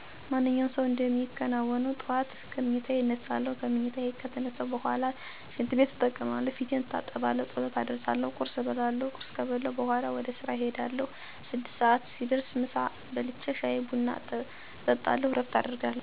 ማንኛውም ሰው እንደሚከናውነው ጠዋት ከምኝታየ እነሳለሁ። ከምኝታየ ከተነሳሁ በኋላ ሽንትቤት እጠቀማለሁ፣ ፊቴን እታጠባለሁ፣ ጸሎት አደርሳለሁ፣ ቁርስ እበላለሁ። ቁርስ ከበላሁ በኋላ ወደ ስራየ እሄዳለሁ። ስድስት ሰዓት ሲደርስ ምሳየን በልቼ ሻይ ቡና እየጠጣሁ እረፍት አደርጋለሁ። ከእረፍት በኋላ ተመልሼ ወደ የዕለቱ ተግባሬ እሰማራለሁ። ተግባሬ ከፈፀመኩ በኋላ ወደ ቤቴ ተመልሼ ከቤተሰብ ጋር በመዝናናት አሳልፋለሁ።